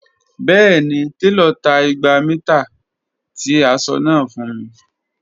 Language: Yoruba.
Bẹẹni, telo ta igba mita ti aṣọ naa fun mi.